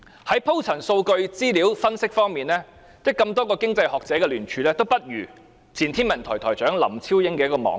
在鋪陳數據和資料分析方面，多位經濟學者的聯署文件，質素都不如前天文台台長林超英的網誌。